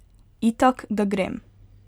Itak, da grem.